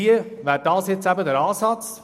Dies wäre hier der Ansatz.